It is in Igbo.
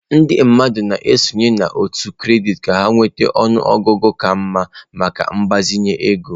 Ndị mmadụ na-esonye n'òtù kredit ka ha nweta ọnụ ọgụgụ ka mma maka mgbazinye ego.